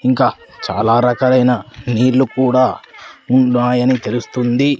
ఇంకా చాలా రకాలైన నీళ్ళు కూడా ఉన్నాయని తెలుస్తుంది.